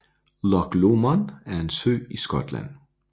Loch Lomond er en sø i Skotland